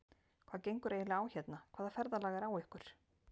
Hvað gengur eiginlega á hérna. hvaða ferðalag er á ykkur!